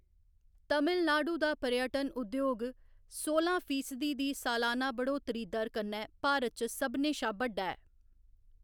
तमिलनाडु दा पर्यटन उद्योग सोलां फीसदी दी सलाना बढ़ौतरी दर कन्नै भारत च सभनें शा बड्डा ऐ।